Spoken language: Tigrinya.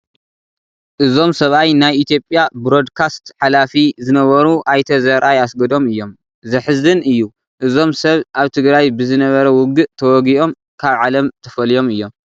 እዞም ሰብኣይ ናይ ኢትዮጵያ ብሮድካስት ሓላፊ ዝነበሩ ኣይተ ዘርኣይ ኣስገዶም እዮም፡፡ ዘሕዝን እዩ፡፡ እዞም ሰብ ኣብ ትግራይ ብዝነበረ ውግእ ተወጊኦም ካብ ዓለም ተፈልዮም እዮም፡፡